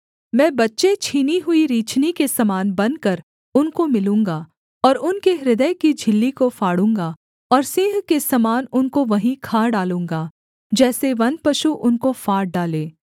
मैं बच्चे छीनी हुई रीछनी के समान बनकर उनको मिलूँगा और उनके हृदय की झिल्ली को फाड़ूँगा और सिंह के समान उनको वहीं खा डालूँगा जैसे वनपशु उनको फाड़ डाले